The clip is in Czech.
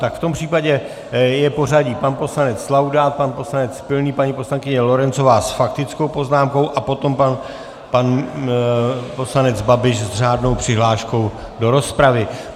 Tak v tom případě je pořadí pan poslanec Laudát, pan poslanec Pilný, paní poslankyně Lorencová s faktickou poznámkou a potom pan poslanec Babiš s řádnou přihláškou do rozpravy.